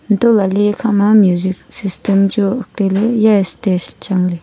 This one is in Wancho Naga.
hantoh lahley ekha ma music system chu tailey eya stage chang ley.